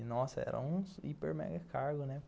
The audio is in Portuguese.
E, nossa, era um hiper mega cargo, né?